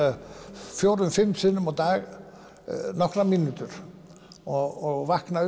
fjórum fimm sinnum á dag nokkrar mínútur og vakna